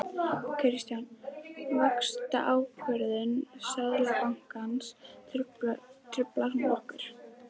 Kristján: Vaxtaákvörðun Seðlabankans, truflar hún ykkur?